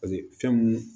fɛn mun